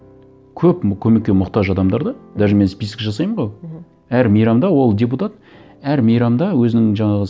көм көмекке мұқтаж адамдар да даже мен список жасаймын ғой мхм әр мейрамда ол депутат әр мейрамда өзінің жаңағы